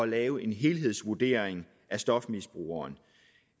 lave en helhedsvurdering af stofmisbrugeren